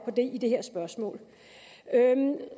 i det her spørgsmål